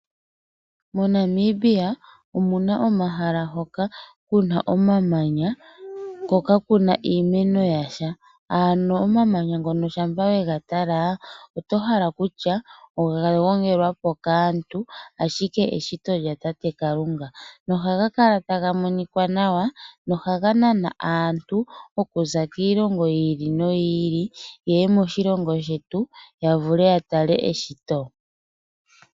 MoNamibia omuna omahala hoka kuna omamanya ko kakuna iimeno yasha. Omamanya ngano ngele owe gatala oto hala kutya oga gongelwapo kaantu ihe eshito lyatate Kalunga. Ohaga kala taga monika nawa nohaga nana aantu okuza kiiilongo yilwe yeye ya tale eshito.